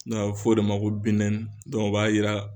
a bɛ fɔ o de ma ko binɛni o b'a yira